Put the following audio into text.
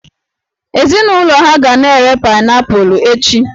Ezinụlọ ha ga na-ere paịnaịpụlụ echi